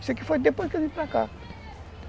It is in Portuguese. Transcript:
Isso aqui foi depois que eu vim para cá.